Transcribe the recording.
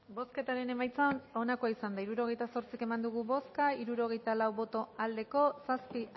bozketaren emaitza onako izan da hirurogeita zortzi eman dugu bozka hirurogeita hamaika eman dugu bozka hirurogeita lau boto aldekoa zazpi